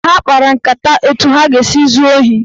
Ha kpara nkata etu ha ga-esi zuo ohi.